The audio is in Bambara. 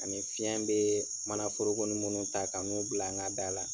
Ani fiɲɛ be manaforokoni minnu ta ka n'u bila an ka da la